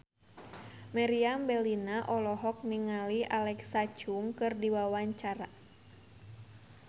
Meriam Bellina olohok ningali Alexa Chung keur diwawancara